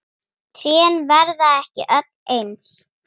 Trén verða ekki öll eins.